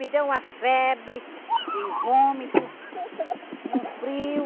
Me deu uma febre e vômito e um frio.